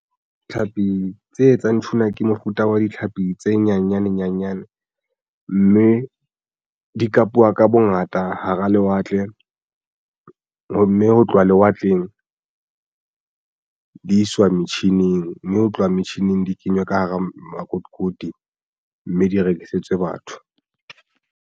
Tlhapi tse etsang tuna ke mofuta wa ditlhapi tse nyanyane nyanyane mme di kapuwa ka bongata hara lewatle, mme ho tloha lewatleng di iswa metjhining mme ho tloha metjhining di kenywa ka hara makotikoti mme di rekisetswe batho.